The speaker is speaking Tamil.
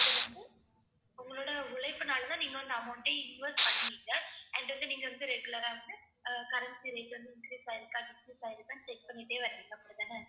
அது வந்து உங்களோட உழைப்புனாலதான் நீங்க வந்து amount டே invest பண்றீங்க and வந்து நீங்க வந்து regular ஆ வந்து அஹ் currency rate வந்து increase ஆயிருக்கா decrease ஆயிருக்கான்னு check பண்ணிட்டே வர்றீங்க அப்படித்தானே.